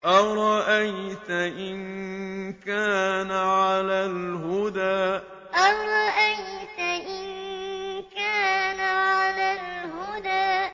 أَرَأَيْتَ إِن كَانَ عَلَى الْهُدَىٰ أَرَأَيْتَ إِن كَانَ عَلَى الْهُدَىٰ